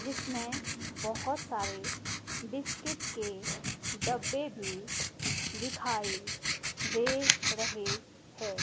जिसमें बहोत सारे बिस्किट के डब्बे भी दिखाई दे रहे हैं।